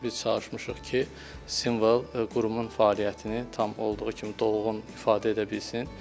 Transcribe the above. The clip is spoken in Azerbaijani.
Biz çalışmışıq ki, simvol qurumun fəaliyyətini tam olduğu kimi dolğun ifadə edə bilsin.